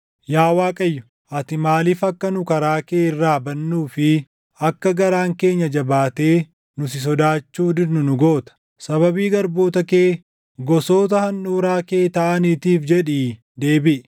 Yaa Waaqayyo, ati maaliif akka nu karaa kee irraa badnuu fi akka garaan keenya jabaatee nu si sodaachuu didnu nu goota? Sababii garboota kee, gosoota handhuuraa kee taʼaniitiif jedhii deebiʼi.